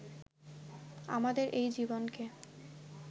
আমাদের এই জীবনকে